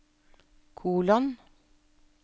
kolon